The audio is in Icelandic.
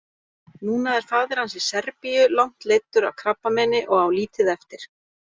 Núna er faðir hans í Serbíu langt leiddur af krabbameini og á lítið eftir.